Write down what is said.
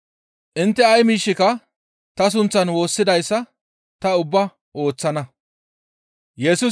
Intte ay miishshika ta sunththan woossidayssa ta ubbaa ooththana.